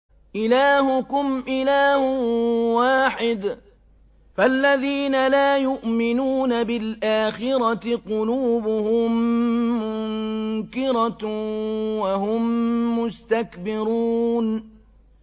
إِلَٰهُكُمْ إِلَٰهٌ وَاحِدٌ ۚ فَالَّذِينَ لَا يُؤْمِنُونَ بِالْآخِرَةِ قُلُوبُهُم مُّنكِرَةٌ وَهُم مُّسْتَكْبِرُونَ